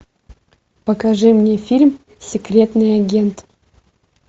покажи мне фильм секретный агент